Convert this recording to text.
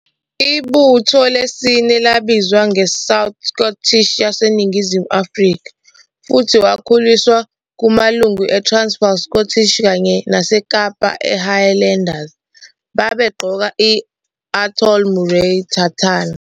Ibutho lesine labizwa "ngeSouth Scottish yaseNingizimu Afrika" futhi wakhuliswa kumalungu eTransvaal Scottish kanye naseKapa iHighlanders, babegqoke i- Atholl Murray tartan.